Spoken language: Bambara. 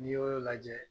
N'i y'olu lajɛ